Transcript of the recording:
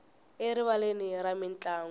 erivaleni ra mintlangu